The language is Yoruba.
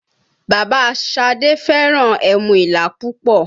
Bàbá Șadé fẹ́ràn ẹmu Ìlá púpọ̀